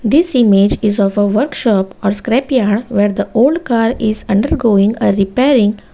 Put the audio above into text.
this image is of a workshop or scrapyard where the old car is undergoing a repairing.